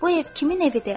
Bu ev kimin evidir?